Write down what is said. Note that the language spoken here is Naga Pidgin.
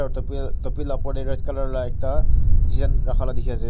topi topi laga opor te red colour laga design rakha laga dekhi ase.